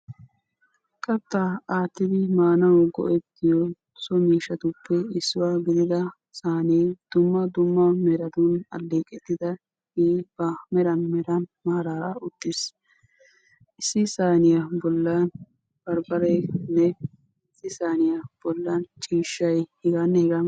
Kattaa aattidi maanawu go'ettiyo so miishshatuppe issuwa gidida saanee dumma dumma meran alleeqettidaagee ba meran meran maaraara uttiis. Issi saaniya bollan barbbareenne issi saaniya bollan ciishshay heganne hegaa milatiyabay,,,